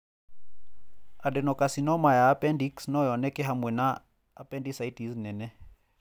Adenocarcinoma ya appendix no yoneke hamwe na appendicitis nene.